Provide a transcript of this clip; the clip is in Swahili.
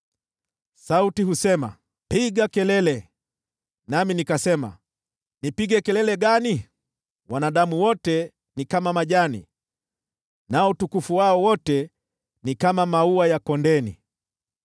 Sauti husema, “Piga kelele.” Nami nikasema, “Nipige kelele gani?” “Wanadamu wote ni kama majani, nao utukufu wao wote ni kama maua ya kondeni.